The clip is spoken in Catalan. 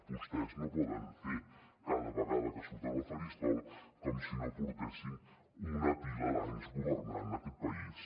vostès no poden fer cada vegada que surten al faristol com si no portessin una pila d’anys governant aquest país